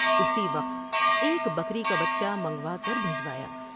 اسی وقت ایک بکری کا بچہ منگوا کر بھجوایا ۔